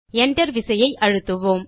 Enter விசையை அழுத்தவும்